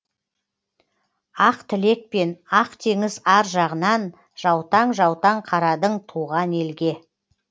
ақ тілекпен ақ теңіз ар жағынан жаутаң жаутаң қарадың туған елге